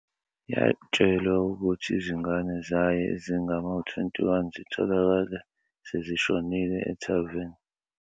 Yatshelwa ukuthi izingane zayo ezingama-21 zitholakale sezishonile, ethaveni.